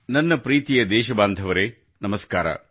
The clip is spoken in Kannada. ನನ್ನ ಪ್ರೀತಿಯ ದೇಶಬಾಂಧವರೇ ನಮಸ್ಕಾರಗಳು